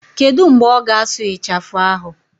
Kedu mgbe ọ ga-asụ ịchafụ ahụ?